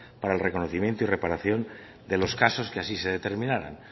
para el reconocimiento y reparación de los casos que así de determinaran